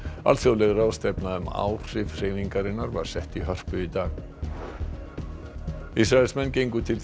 alþjóðleg ráðstefna um áhrif hreyfingarinnar var sett í Hörpu í dag Ísraelar gengu til